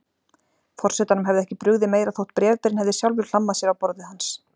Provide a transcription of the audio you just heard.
Forsetanum hefði ekki brugðið meira þótt bréfberinn hefði sjálfur hlammað sér á borðið hans.